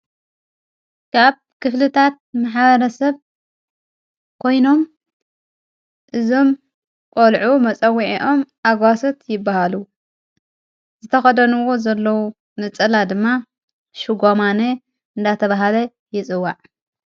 ካብ ክፍልታት መሓበረ ሰብ ኮይኖም እዞም ቖልዑ መጸዊዒኦም ኣጓሰት ይበሃሉ ዝተኸደንዎ ዘለዉ ነጸላ ድማ ሽጓማነ እንዳተብሃለ ይጽዋዕ።